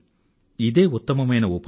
ఇదే ఉత్తమమైన ఉపాయం